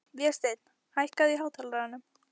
Vésteinn, hækkaðu í hátalaranum.